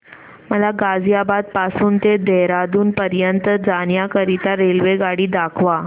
मला गाझियाबाद पासून ते देहराडून पर्यंत जाण्या करीता रेल्वेगाडी दाखवा